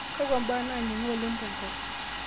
kakwa mbaa naningo oleng tenkop